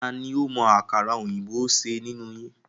Tani ó mọ àkàrà òyìnbó ṣe nínú yín?